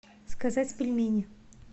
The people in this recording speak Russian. сказать пельмени